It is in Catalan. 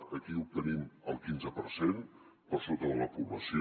aquí obtenim el quinze per cent per sota de la població